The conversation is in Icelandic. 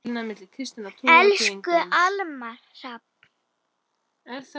Elsku Almar Hrafn.